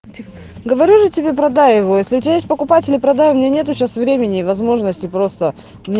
говорю же тебе продай его если у тебя есть покупатели продаю меня нету сейчас времени и возможности просто